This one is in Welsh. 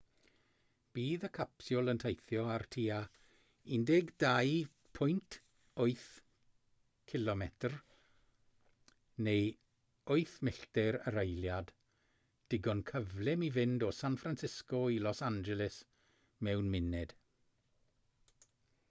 bydd y capsiwl yn teithio ar tua 12.8 km neu 8 milltir yr eiliad digon cyflym i fynd o san francisco i los angeles mewn munud